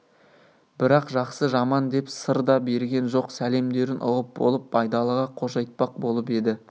бірақ жақсы жаман деп сыр да берген жоқ сәлемдерін ұғып болып байдалыға қош айтпақ болып еді